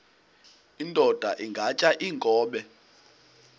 indod ingaty iinkobe